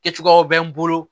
Kɛcogoyaw bɛ n bolo